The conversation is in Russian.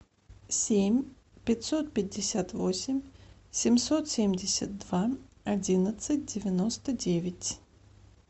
семь пятьсот пятьдесят восемь семьсот семьдесят два одиннадцать девяносто девять